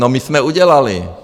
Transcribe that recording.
No, my jsme udělali.